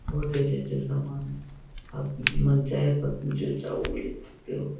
बोहोत ही अच्छे-अच्छे सामान आप मनचाहे पसंद जो चाहो वो ले सकते हो।